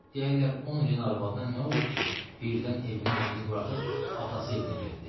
Deyərlər 10 ilin arvadına nə oldu ki, birdən evin eşiyini buraxıb atası evinə getdi.